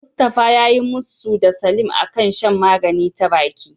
Mustafa yayi musu da Salim a kan shan magani ta baki.